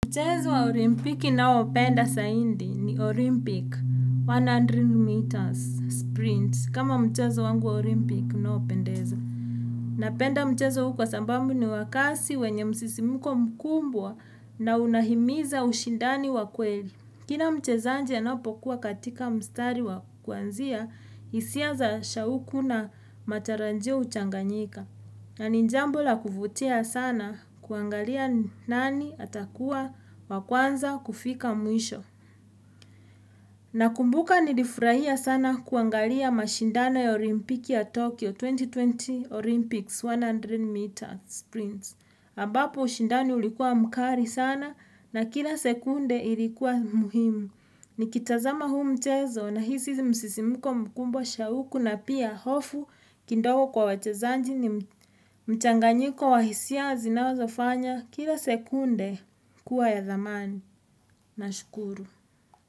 Mchezo wa olimpiki ninaoupenda zaidi ni Olympic 100 meters sprint kama mchezo wangu wa olimpiki unaopendeza. Napenda mchezo huu kwa sababu ni wa kasi wenye msisimko mkubwa na unahimiza ushindani wa kweli. Kila mchezaji anapokuwa katika mstari wa kuanzia, hisia za shauku na matarajio huchanganyika. Na ni jambo la kuvutia sana kuangalia nani atakuwa wa kwanza kufika mwisho. Nakumbuka nilifurahia sana kuangalia mashindano ya olimpiki ya Tokyo 2020 Olympics 100 meter sprints ambapo ushindani ulikuwa mkali sana na kila sekunde ilikuwa muhimu. Nikitazama huu mchezo nahisi msisimko mkubwa shauku na pia hofu kidogo kwa wachezaji ni mchanganyiko wa hisia zinazofanya kila sekunde kuwa ya thamani nashukuru.